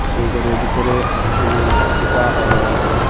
সেই ঘরের ভিতরে অনেকগুলো সোফাও রয়েছে।